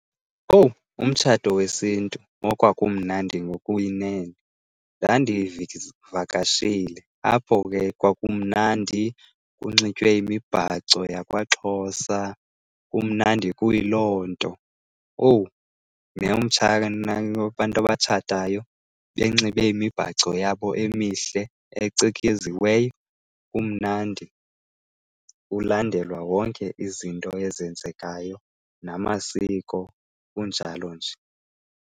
Owu! Umtshato wesiNtu okwakumnandi ngokuyinene! Ndandivakashile, apho ke kwakumnandi, kunxitywe imibhaco yakwaXhosa, kumnandi kuyiloo nto. Owu! abantu abatshatayo benxibe imibhaco yabo emihle, ecikeziweyo, kumnandi, kulandelwa wonke izinto ezenzekayo namasiko kunjalo nje.